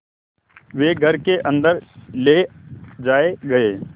वे घर के अन्दर ले जाए गए